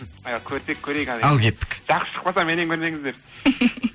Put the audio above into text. ы көрсек көрейік ал кеттік жақсы шықпаса меннен көрмеңіздер